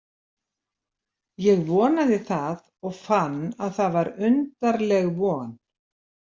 Ég vonaði það og fann að það var undarleg von.